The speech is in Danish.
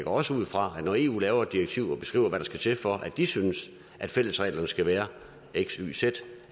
også ud fra at når eu laver et direktiv og beskriver hvad der skal til for at de synes at fællesreglerne skal være x y z